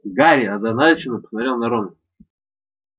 гарри озадаченно посмотрел на рона